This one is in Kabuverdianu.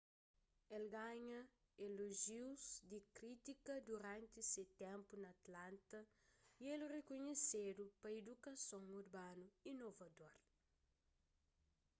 el ganha elojius di krítika duranti se ténpu na atlanta y el rikunhesedu pa idukason urbanu inovador